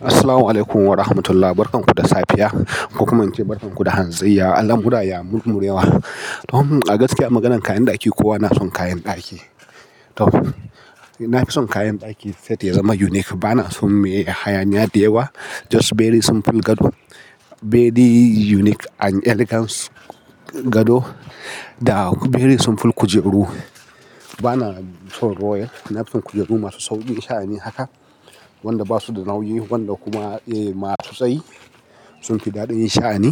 Assalamualaikum warahmatullahi barakanhu da safe ya. Kokuma in ce barkan ku da hantsi ya. Al'amura ya mummurewa. To a gaskiya a maganan kayan ɗaki kowa na son kayan ɗaki. To, na fi son kayan ɗaki set ya zama unique. Ba na son me hayaniya da yawa. Just very simple gado, very unique and elegance gado da very simple kujeru. Ba na son royal. Na fi son kujeru masu sauƙin sha'ani haka. Wanda ba su da nauyi, wanda kuma masu tsayi. Sun fi daɗi sha'ani.